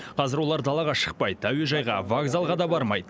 қазір олар далаға шықпайды әуежайға вокзалға да бармайды